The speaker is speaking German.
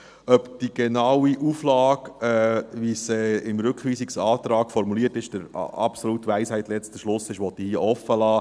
Ob die genaue Auflage, wie sie im Rückweisungsantrag formuliert ist, der absoluten Weisheit letzter Schluss ist, will ich hier offenlassen.